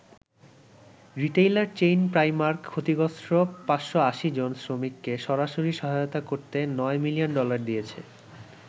Retailer chain Primark ক্ষতিগ্রস্ত ৫৮০ জন শ্রমিককে সরাসরি সহায়তা করতে ৯ মিলিয়ন ডলার দিয়েছে।